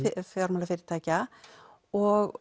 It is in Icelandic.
fjármálafyrirtækja og